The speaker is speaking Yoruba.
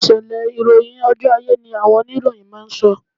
Ìṣẹ̀lẹ̀ ìròyìn ojú ayé ni àwọn oníròyìn máa ń sọ